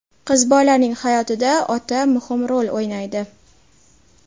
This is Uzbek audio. Qiz bolaning hayotida ota muhim rol o‘ynaydi.